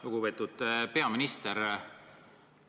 Lugupeetud peaminister!